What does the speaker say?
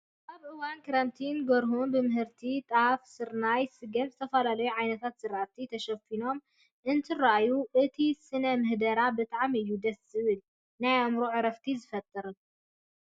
ኣብ እዋን ክረምቲ ጎርሁታት ብምህርትታት ከጣፍ፣ ስርናይ፣ ስገምን ዝተፈላለዩ ዓይነታት ዝራእቲ ተሸፊኖም እንትረኣዩ እቲ ስነ ምህዳር ብጣዕሚ እዩ ደስ ዝብልን ናይ ኣዕምሮ ዕረፍቲ ዝፈጥርን።